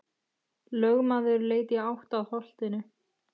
Lögmaður leit í átt að holtinu.